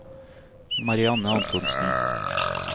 Marianne Antonsen